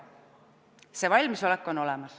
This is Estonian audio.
See valmisolek on olemas.